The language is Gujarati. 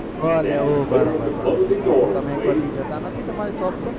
ભલે ઓ બરોબર બરોબર સારું તો તમે કોઈ દી જતા નથી તમારા shape પર